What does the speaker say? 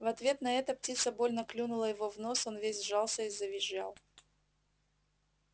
в ответ на это птица больно клюнула его в нос он весь сжался и завизжал